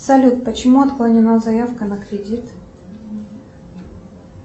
салют почему отклонена заявка на кредит